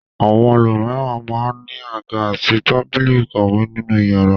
Àwọn ẹlòmíràn máa ń ní àga àti tábìlì ìkàwé nínú ìyàrá.